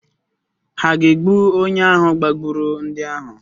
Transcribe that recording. Hà ga-egbu onye ahụ gbagburu ndị ahụ?